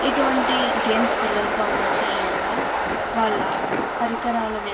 ఇటువంటి గేమ్స్ పిల్లలతో ఆడించడం వల్ల వాళ్ళ పరికరాల --